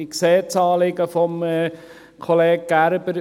Ich sehe das Anliegen des Kollegen Gerber.